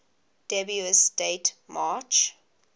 dubious date march